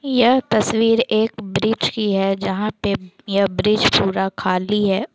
यह तस्वीर एक ब्रिज कि हैं जहां पे यह ब्रिज पूरा खाली है।